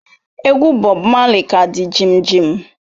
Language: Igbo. Egwu Bob Marley ka di jimjim